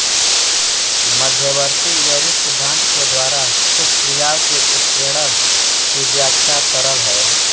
मध्यवर्ती यौगिक सिद्धांत के द्वारा कुछ क्रियाओं के उत्प्रेरण की व्याख्या सरल है